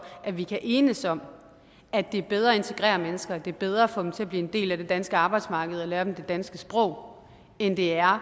at vi kan enes om at det er bedre at integrere mennesker det er bedre at få dem til at blive en del af det danske arbejdsmarked og lære dem det danske sprog end det er